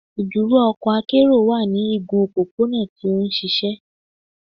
“Iduro ọkọ akero wa ni igun opopona ti o nšišẹ. "